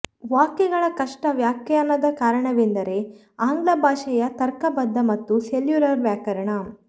ವಾಕ್ಯಗಳ ಕಷ್ಟ ವ್ಯಾಖ್ಯಾನದ ಕಾರಣವೆಂದರೆ ಆಂಗ್ಲ ಭಾಷೆಯ ತರ್ಕಬದ್ಧ ಮತ್ತು ಸೆಲ್ಯುಲರ್ ವ್ಯಾಕರಣ